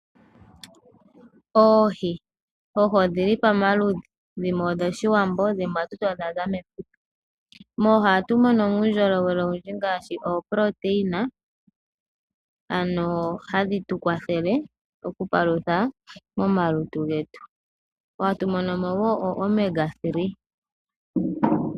Oohi Oohi odhili pamaludhi, dhimwe odho shiwambo dhimwe odhaza mefuta. Moohi ohatu mono mo uundjolowele owundji ngaashi ooprotein, oku palutha momalutu getu, hatu mono mo wo omega-three.